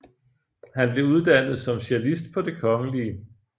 Han blev uddannet som cellist på Det Kgl